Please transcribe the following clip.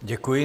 Děkuji.